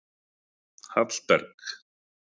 Hallberg